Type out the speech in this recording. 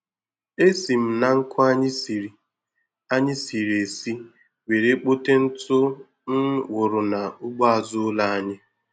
E si m na nkụ anyị siri anyị siri esi were kpote ntụ m wụrụ n'ugbo azụ ụlọ anyị.